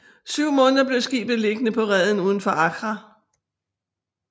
Syv måneder blev skibet liggende på reden uden for Accra